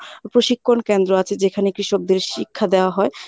প্রশিক্ষণ কেন্দ্র আছে যেখানে কৃষকদের শিক্ষা দেওয়া হয়।